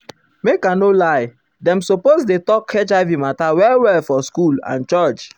make i no lie dem suppose dey talk hiv mata well well for school and church.